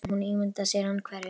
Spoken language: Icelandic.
Hún ímyndar sér að hann hverfi.